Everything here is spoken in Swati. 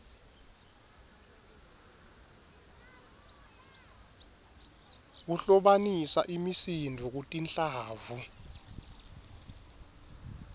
kuhlobanisa imisindvo kutinhlavu